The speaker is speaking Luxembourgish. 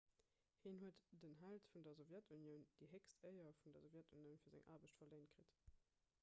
hien huet den held vun der sowjetunioun déi héchst éier vun der sowjetunioun fir seng aarbecht verléint kritt